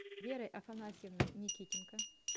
верой афанасьевной никитенко